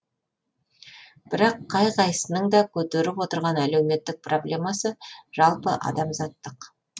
бірақ қай қайсының да көтеріп отырған әлеуметтік проблемасы жалпы адамзаттық